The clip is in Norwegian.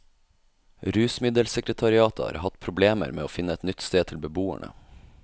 Rusmiddelsekretariatet har hatt problemer med å finne et nytt sted til beboerne.